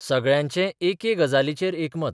सगळ्यांचें एके गजालीचेर एकमत.